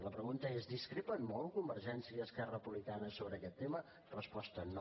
la pregunta és discrepen molt convergència i esquerra republicana sobre aquest tema resposta no